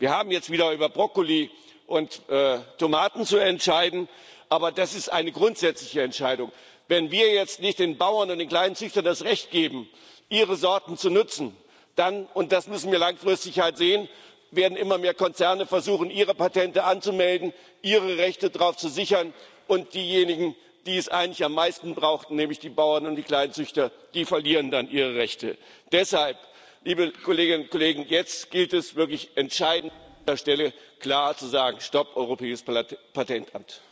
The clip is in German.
Wir haben jetzt wieder über Brokkoli und Tomaten zu entscheiden, aber das ist eine grundsätzliche Entscheidung Wenn wir jetzt nicht den Bauern und den Kleinzüchtern das Recht geben, ihre Sorten zu nutzen, dann, und das müssen wir langfristig halt sehen, werden immer mehr Konzerne versuchen, ihre Patente anzumelden, ihre Rechte darauf zu sichern, und diejenigen, die es eigentlich am meisten brauchen, nämlich die Bauern und die Kleinzüchter, die verlieren dann ihre Rechte. Deshalb, liebe Kolleginnen und Kollegen, ist es jetzt wirklich entscheidend, an dieser Stelle klar zu sagen Stopp, Europäisches Patentamt!